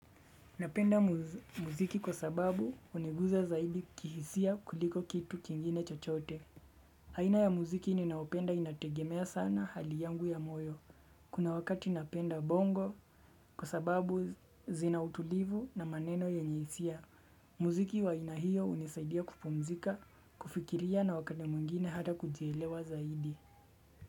Napenda muziki kwa sababu huniguza zaidi kihisia kuliko kitu kingine chochote. Aina ya muziki ninaopenda inategemea sana hali yangu ya moyo. Kuna wakati napenda bongo kwa sababu zina utulivu na maneno yenye hisia. Muziki wa ainahiyo unisaidia kupumzika, kufikiria na wakade mungine hata kujielewa zaidi.